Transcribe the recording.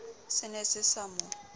se ne se sa mo